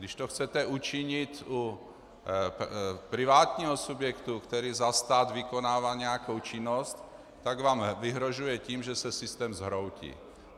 Když to chcete učinit u privátního subjektu, který za stát vykonává nějakou činnost, tak vám vyhrožuje tím, že se systém zhroutí.